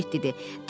Piqlet dedi.